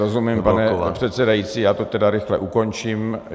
Rozumím, pane předsedající, já to tedy rychle ukončím.